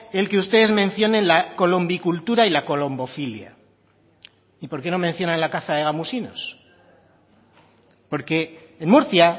el que ustedes mencionen la colombicultura y la colombofilia y por qué no mencionan la caza de gamusinos porque en murcia